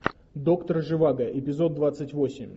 доктор живаго эпизод двадцать восемь